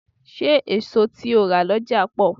Ṣé èso tí o rà lọ́jà pọ̀?